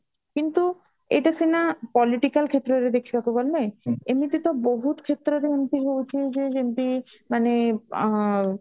କିନ୍ତୁ ଏଇଟା ସିନା political କ୍ଷେତ୍ରରେ ଦେଖିବାକୁ ଗଲେ ଏମିତି ତ ବହୁତ କ୍ଷେତ୍ରରେ ଏମିତି ହଉଛି ଯେ ଯେମିତି ମାନେ ଅ